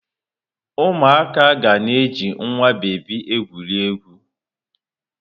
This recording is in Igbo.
Ụmụaka ga na-eji nwa bebi egwuri egwu.